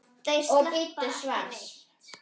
Þeir sleppa ekki neitt.